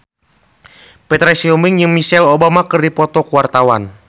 Petra Sihombing jeung Michelle Obama keur dipoto ku wartawan